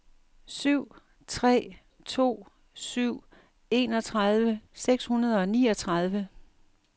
syv tre to syv enogtredive seks hundrede og niogtredive